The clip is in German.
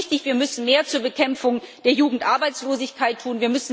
Ja, es ist richtig Wir müssen mehr zur Bekämpfung der Jugendarbeitslosigkeit tun.